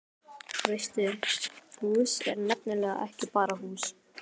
Veistu, hús er nefnilega ekki bara hús.